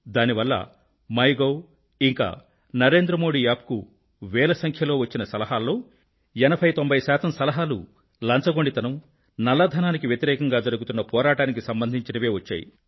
దానివల్ల మైగోవ్ ఇంకా నరేంద్ర మోదీ యాప్ నకు వేల సంఖ్యలో వచ్చిన సలహాల్లో 80 90 శాతం సలహాలు లంచగొండితనం నల్ల ధనానికి వ్యతిరేకంగా జరుగుతున్న పోరాటానికి సంబంధించినవే వచ్చాయి